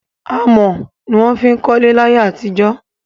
Amọ̀ ni wón fiń kọ́lẹ́ láyẹ́ àti jó